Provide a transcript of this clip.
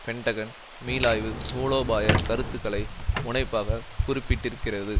Pentagon மீளாய்வு மூலோபாய கருத்துருக்களை முனைப்பாக குறிப்பிட்டிருக்கிறது